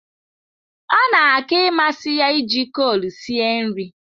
Ọ na aka ịmasị ya iji kol sie nri.